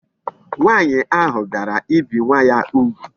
Nwaanyi ahu biara ibi nwa ya ugwu